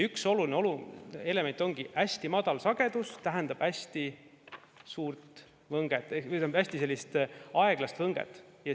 Üks oluline element ongi see, et hästi madal sagedus tähendab hästi suurt võnget, hästi aeglast võnget.